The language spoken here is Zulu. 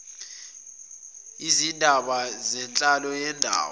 izindaba zenhlalo yendawo